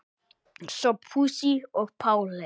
Sophusi og Páli.